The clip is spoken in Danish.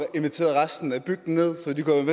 invitere resten af bygden ned så de kunne